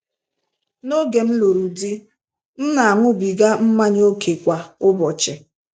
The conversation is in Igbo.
Noge m lụrụ di, m na-aṅụbiga mmanya ókè kwa ụbọchị.